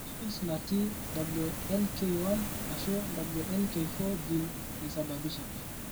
Mutations natii WNK1 Ashuu WNK4 gene naisababisha.